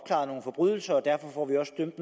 en